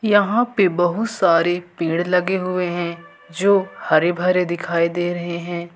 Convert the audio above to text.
यहां पे बहुत सारे पेड़ लगे हुए हैं जो हरे भरे दिखाई दे रहे हैं।